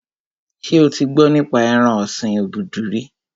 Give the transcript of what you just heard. Ṣé o ti gbọ́ nípa ẹran ọ̀sin obudu rí?